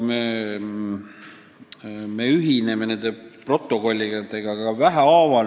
Üldiselt me ühineme niisuguste protokollidega sammhaaval.